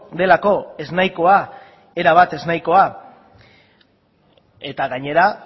delako ez nahikoa erabat ez nahikoa eta gainera